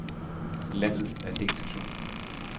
Landet er delt i to.